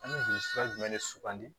An bɛ juru jumɛn de sugandi